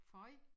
Føj